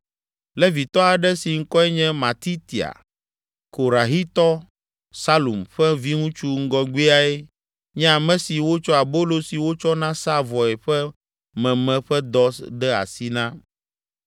Levitɔ aɖe si ŋkɔe nye Matitia, Korahitɔ Salum ƒe viŋutsu ŋgɔgbeae nye ame si wotsɔ abolo si wotsɔna saa vɔe ƒe meme ƒe dɔ de asi na.